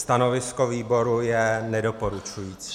Stanovisko výboru je nedoporučující.